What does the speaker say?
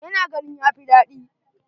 Ta na ganin ya fi daɗi.